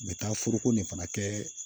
N bɛ taa foroko nin fana kɛ